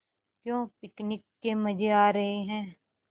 क्यों पिकनिक के मज़े आ रहे हैं